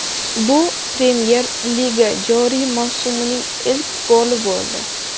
Bu Premyer Liga joriy mavsumining ilk goli bo‘ldi.